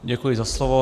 Děkuji za slovo.